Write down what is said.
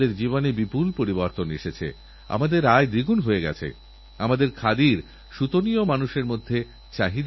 যেমন নতুন গবেষণাগার তৈরির প্রয়োজন আছে তেমনই পুরনোগবেষণাগারকে উন্নত মানের করে তোলারও প্রয়োজন আছে